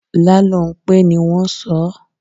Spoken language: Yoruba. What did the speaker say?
Lálónpé ni wọ́n sọ ọ́.